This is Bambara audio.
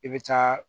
I bɛ taa